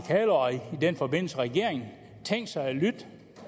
den forbindelse regeringen tænkt sig